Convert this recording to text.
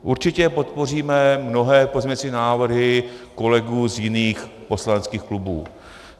Určitě podpoříme mnohé pozměňovací návrhy kolegů z jiných poslaneckých klubů.